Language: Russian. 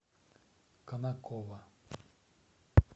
конаково